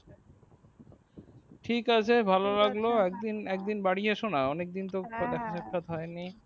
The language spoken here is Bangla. ঠিক আছে ভালো লাগলো একদিন বাড়ি এসো না অনেকদিন তো দেখা সাক্ষাৎ হয়নি